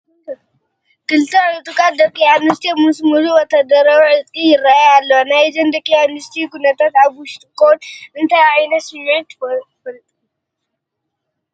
ክልተ ዕጡቃት ደቂ ኣንስትዮ ምስ ሙሉእ ወታደራዊ ዕጥቂ ይርአያ ኣለዋ፡፡ ናይዘን ደቂ ኣንስትዮ ኩነታት ኣብ ውሽጥኹም እንታይ ዓይነት ስምዒት ፈጢሩልኩም?